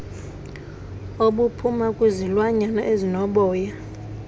obuphuma kwizilwanyana ezinoboya